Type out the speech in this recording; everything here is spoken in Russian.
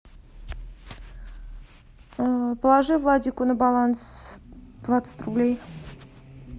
положи владику на баланс двадцать рублей